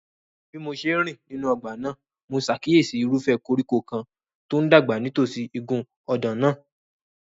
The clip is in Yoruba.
Bí mo ṣe ń rìn nínú ọgbà náà, mo ṣàkíyèsí irúfẹ́ koríko kan tó ń dàgbà nítòsí igun ọ̀dàn náà.